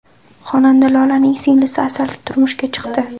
Xonanda Lolaning singlisi Asal turmushga chiqdi .